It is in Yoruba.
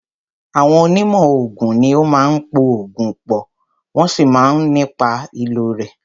Àwọn onímọ̀ oògùn ní o máà ń po oògùn pọ̀, wọ́n sì máà ń sọ nípa ìlò rẹ̀.